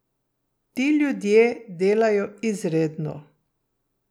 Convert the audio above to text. Ti ljudje delajo izredno.